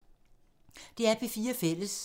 DR P4 Fælles